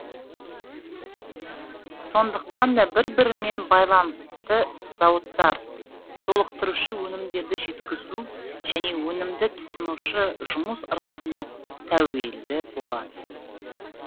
сондықтан да бір бірімен байланысты зауыттар толықтырушы өнімдерді жеткізу және өнімді тұтынушы жұмыс ырғағына тәуелді болады